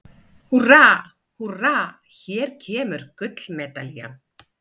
Húrra, húrra- hér kemur gullmedalían!